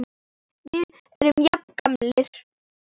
Við erum jafn gamlir.